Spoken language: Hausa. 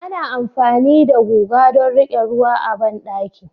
Ana amfani da guga don riƙe ruwa a bandaki